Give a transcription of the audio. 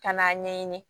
Ka n'a ɲɛɲini